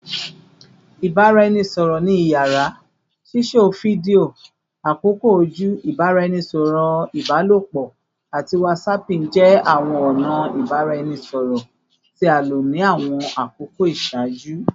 Ibaraẹnisọrọ ni iyara, sisọ fidio, akoko oju, ibaraẹnisọrọ ibalopọ, ati whatsapping jẹ awọn ọna ibaraẹnisọrọ ti a lo ni awọn akoko iṣaaju